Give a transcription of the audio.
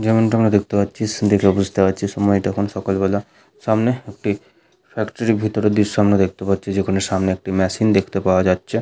যেমনটা আমরা দেখতে পাচ্ছিস দেখলে বুঝতে পাচ্ছি সময় টা এখন সকালবেলা সামনে একটি ফ্যাক্টরি ভিতরের দৃশ্য দেখতে পাচ্ছি যেখানে সামনে একটি মেশিন দেখতে পাওয়া যাচ্ছে।